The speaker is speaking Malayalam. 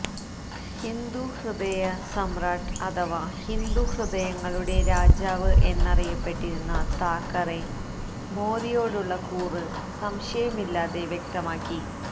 ഹിന്ദുഹൃദയ സമ്രാട്ട് അഥവാ ഹിന്ദു ഹൃദയങ്ങളുടെ രാജാവ് എന്നറിയപ്പെട്ടിരുന്ന താക്കറെ മോദിയോടുള്ള കൂറ് സംശയമില്ലാതെ വ്യക്തമാക്കി